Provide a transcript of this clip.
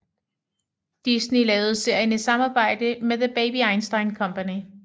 Disney lavede serien i samarbejde med The Baby Einstein Company